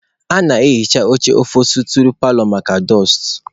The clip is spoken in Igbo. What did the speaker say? A na-ehicha oche ofosturị paalọ maka dụstụ